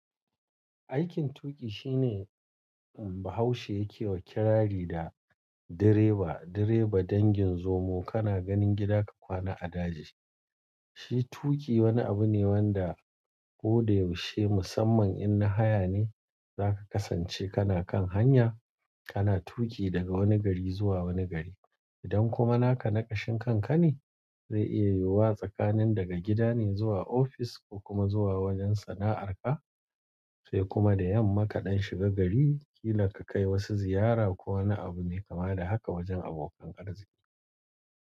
Aikin tuƙi shine Bahaushe yake wa kirari da direba. Direba dangin zomo kana ganin gida ka kwana a daji. Shi tuƙi wani abu ne wanda ko da yaushe musamman in na haya ne za ka kasance kana kan hanya, kana tuƙi daga wani gari zuwa wani gari. Idan kuma naka naƙashin kanka ne zai iya yiwuwa tsakanin daga gida ne zuwa ofis ko kuma zuwa wajen sana'arka sai kuma da yamma kaɗan shiga gari kila ka kai wasu ziyara ko wani abu mai kama da haka wajen abokan ƙarzi.